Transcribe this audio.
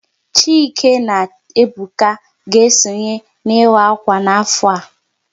Chike na Ebuka ga-esonye n'ịwa akwa n'afọ a